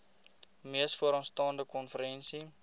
mees vooraanstaande konferensie